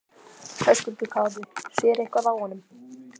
Höskuldur Kári: Sér eitthvað á honum?